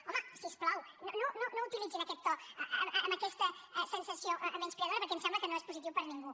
home si us plau no utilitzin aquest to amb aquesta sensació menyspreadora perquè em sembla que no és positiu per a ningú